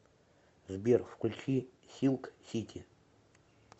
сбер включи силк сити